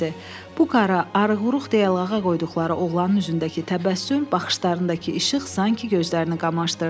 Bu qara, arıq-quruq deyə lağə qoyduqları oğlanın üzündəki təbəssüm, baxışlarındakı işıq sanki gözlərini qamaşdırdı.